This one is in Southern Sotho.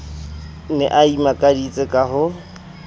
ne a imakaditse ka ho